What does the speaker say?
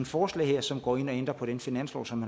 forslag her som går ind og ændrer på den finanslov som